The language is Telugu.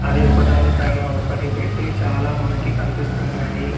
అవి ఒకదాని పైన ఒకటి పెట్టి చాలా మనకి కనిపిస్తున్నాయి.